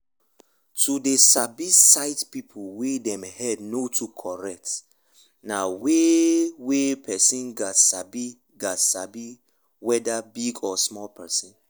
to dey sabi sight people wey dem head no too correct na weyth wey person gats sabi gats sabi weda big or small person